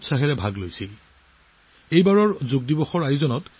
যোগ দিৱস আগবাঢ়ি যোৱাৰ লগে লগে নতুন নতুন অভিলেখ গঢ় লৈ উঠিছে